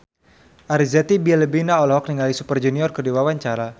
Arzetti Bilbina olohok ningali Super Junior keur diwawancara